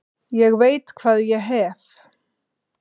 Ég veit hvað ég hef.